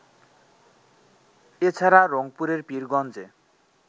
এছাড়া, রংপুরের পীরগঞ্জে